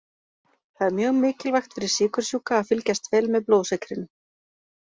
Það er mjög mikilvægt fyrir sykursjúka að fylgjast vel með blóðsykrinum.